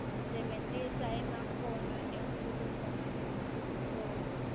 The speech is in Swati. sebentisa emakhono enkhulumoluhlolo